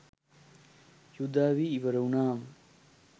යුධ අවි ඉවර වුණාම